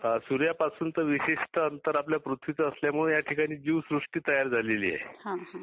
सुर्यापासून तर विशिष्ट अंतर आपल्या पृथ्वीच असल्यामुळे याठिकाणी जिवसृष्ठी तयार झाली आहे.